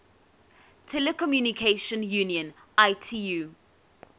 telecommunication union itu